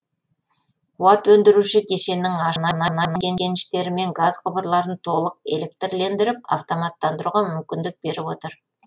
қуат өндіруші кешеннің ашылуы мұнай кеніштері мен газ құбырларын толық электрлендіріп автоматтандыруға мүмкіндік беріп отыр